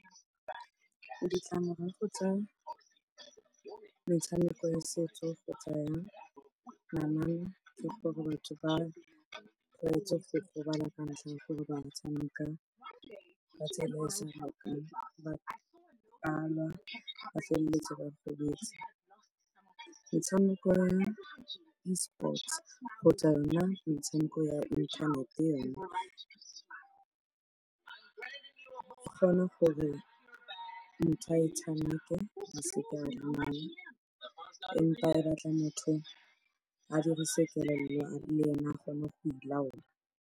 Ditlamorago tsa metshameko ya setso kgotsa ya namana ke gore batho ba kgweetse go gobala ka ntlha ya gore ba tshameka ka tsela e e seng yone, ba a lwa ba felletsa ba gobetse. Metshameko ya Esports kgotsa yona metshameko ya inthanete yone, go kgona gore motho a e tshameke empa e batla motho a dirise kelello le ene a kgone go ilaola.